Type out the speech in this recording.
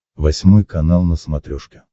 восьмой канал на смотрешке